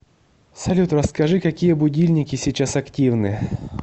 салют расскажи какие будильники сейчас активны